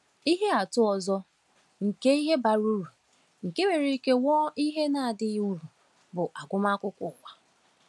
Ihe atụ ọzọ nke ihe bara uru nke nwere ike ghọọ ihe na-adịghị uru bụ agụmakwụkwọ ụwa.